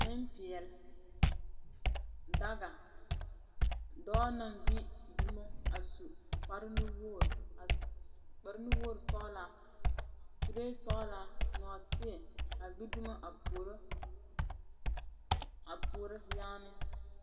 Ninpɛɛle, daga doɔ nang gbi duma a su kpare nu wugri sɔglaa kuree soglaa noɔteɛ a gbi duma a puoro yaani.